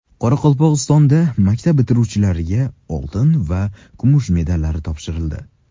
Qoraqalpog‘istonda maktab bitiruvchilariga oltin va kumush medallar topshirildi.